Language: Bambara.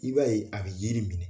I b'a ye a bɛ yiri minɛ